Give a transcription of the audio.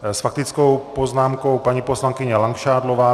S faktickou poznámkou paní poslankyně Langšádlová.